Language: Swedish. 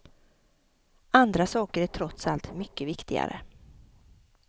Andra saker är trots allt mycket viktigare.